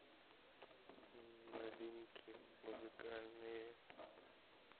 новинки музыкальные